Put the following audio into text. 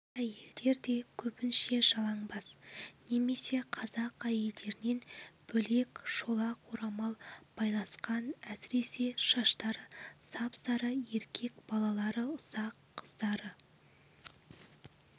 әйелдер де кебінше жалаңбас немесе қазақ әйелдерінен бөлек шолақ орамал байласқан әсіресе шаштары сап-сары еркек балалары ұсақ қыздары